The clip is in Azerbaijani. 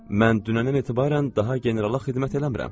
Mən dünəndən etibarən daha generala xidmət eləmirəm,